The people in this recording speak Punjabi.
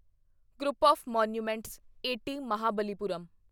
group of monuments at Mahabalipuram